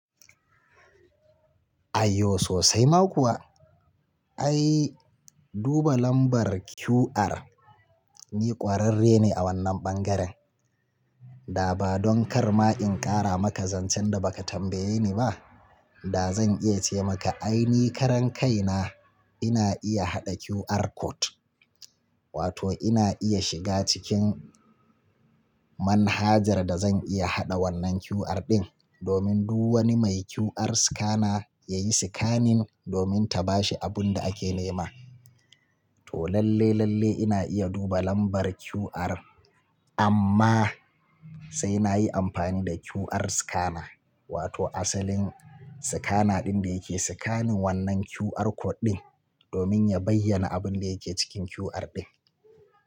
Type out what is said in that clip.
Ayo sosai ma kuwa. Ai duba lambar QR. Ni kwararre ne a wannan bangaren. Da ba don kar ma in kara maka zancen da baka tambaye ni ba, da zan iya ce maka ai ni karan kai na ina iya haɗa QR code. Wato ina iya shiga cikin manhajar da zan iya haɗa wannan QR ɗin domin duk wani mai QR scanner ya yi scanning domin ta bashi abun da ake nema. To lalle lalle ina iya duba lambar QR amma sai na yi amfani da QR scanner, wato asalin scanner ɗin da yake scanning wannan QR code ɗin domin ya bayyana abin da yake cikin QR ɗin.